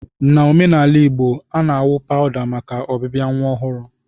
n'omenaala Igbo, a na-awụ pawụda maka ọbịbịa nwa ọhụrụ.